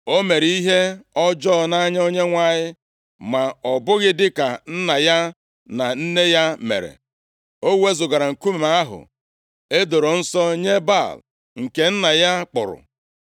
O mere ihe ọjọọ nʼanya Onyenwe anyị, ma ọ bụghị dịka nna ya na nne ya mere. O wezugara nkume ahụ e doro nsọ nye Baal nke nna ya kpụrụ.